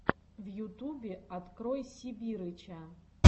в ютубе открой сибирыча